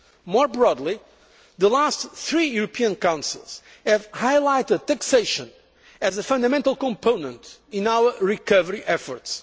year. More broadly, the last three European Councils have highlighted taxation as a fundamental component in our recovery efforts.